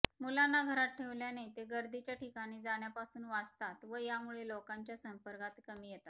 मुलांना घरात ठेवल्याने ते गर्दीच्या ठिकाणी जाण्यापासून वाचतात व यामुळे लोकांच्या संपर्कात कमी येतात